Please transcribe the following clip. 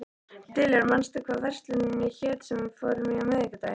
Diljar, manstu hvað verslunin hét sem við fórum í á miðvikudaginn?